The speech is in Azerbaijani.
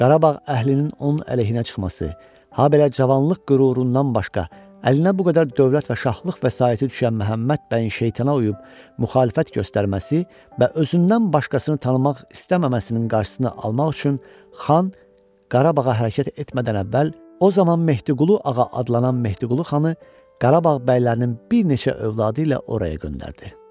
Qarabağ əhalisinin onun əleyhinə çıxması, habelə cavanlıq qürurundan başqa əlinə bu qədər dövlət və şaxlıq vəsaiti düşən Məhəmməd bəyin şeytana uyub müxalifət göstərməsi və özündən başqasını tanımaq istəməməsinin qarşısını almaq üçün xan Qarabağa hərəkət etmədən əvvəl o zaman Mehdiqulu ağa adlanan Mehdiqulu xanı Qarabağ bəylərinin bir neçə övladı ilə oraya göndərdi.